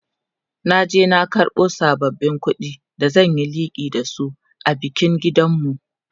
na je na karbo sabbabin ƙuɗin da zan Yi liƙi da su a bikin gidanmu